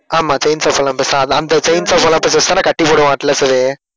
ஆமா chains of Olympus தான் அந்த அந்த செயின்ஸ் ஆஃப் ஓலம்பஸை வச்சிதான் கட்டி போடுவான் அட்லஸு